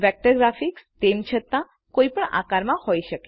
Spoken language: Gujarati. વેક્ટર ગ્રાફિક્સતેમ છતાકોઈ પણ આકારમાં હોય શકે